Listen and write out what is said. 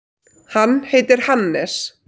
Hann heitir Hannes.